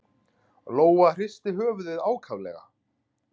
Lóa hristi höfuðið ákaflega.